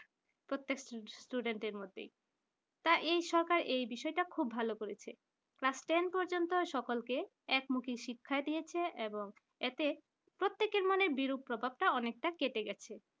প্রত্যেক টা student এর মধ্যে তা এই সরকার এই বিষয়টা খুব ভালো করেছেন class ten পর্যন্ত সকলকে এক মুখি শিক্ষা দিয়েছে এবং এতে প্রত্যেকের মনে বিরূপ প্রভাব টা অনেকটা কেটে গেছে